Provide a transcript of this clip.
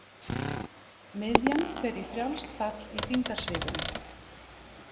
Miðjan fer í frjálst fall í þyngdarsviðinu.